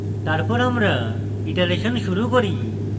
তারপর আমরা ইটারেশন শুরু করি